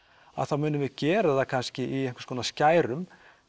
að þá munum við gera það kannski í einhvers konar skærum